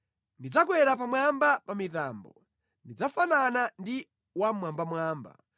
Ndidzakwera pamwamba pa mitambo; ndidzafanana ndi Wammwambamwamba.”